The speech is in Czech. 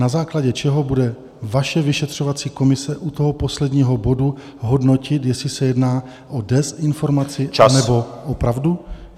Na základě čeho bude vaše vyšetřovací komise u toho posledního bodu hodnotit, jestli se jedná o dezinformaci, anebo o pravdu?